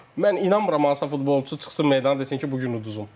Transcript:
Amma mən inanmıram hansısa futbolçu çıxsın meydana desin ki, bu gün uduzduq.